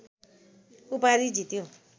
उपाधि जित्यो